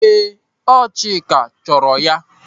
Ee, ọ bụ Chika chọrọ ya.